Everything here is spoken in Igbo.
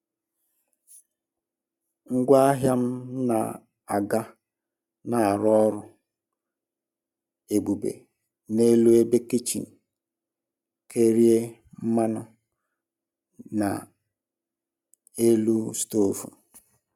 Ngwaahịa m na-aga na-arụ ọrụ ebube n'elu ebe kichin kerie mmanụ na n'elu stovu.